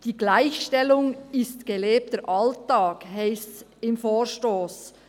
«Die Gleichstellung ist gelebter Alltag», so heisst es im Vorstoss.